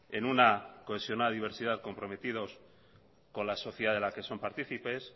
en una cohesionada diversidad comprometidos con la sociedad de las que son partícipes